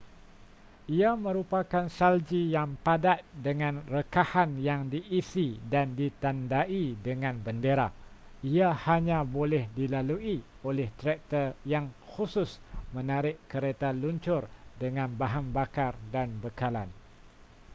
ia merupakan salji yang padat dengan rekahan yang diisi dan ditandai dengan bendera ia hanya boleh dilalui oleh traktor yang khusus menarik kereta luncur dengan bahan bakar dan bekalan